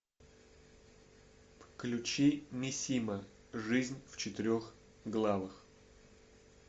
включи мисима жизнь в четырех главах